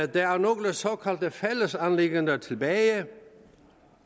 der er nogle såkaldte fællesanliggender tilbage